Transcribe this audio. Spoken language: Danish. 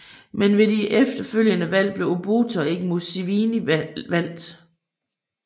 Men ved de efterfølgende valg blev Obote og ikke Museveni valgt